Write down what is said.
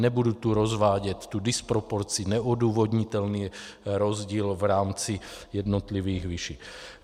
Nebudu tu rozvádět tu disproporci, neodůvodnitelný rozdíl v rámci jednotlivých výší.